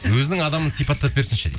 өзінің адамын сипаттап берсінші дейді